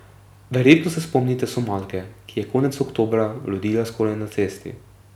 Verjetno se spomnite Somalke, ki je konec oktobra rodila skoraj na cesti.